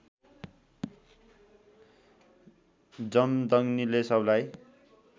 जमदग्निले सबलाई